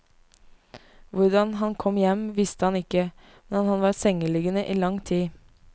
Hvordan han kom hjem, visste han ikke, men han var sengeliggende i lang tid.